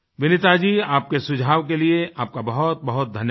विनीता जी आपके सुझाव के लिए आपका बहुतबहुत धन्यवाद